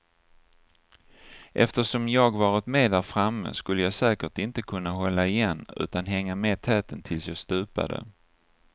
Eftersom jag varit med där framme skulle jag säkert inte kunna hålla igen utan hänga med täten tills jag stupade.